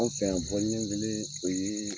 Anw fɛ yan ɲɛ kelen, o yee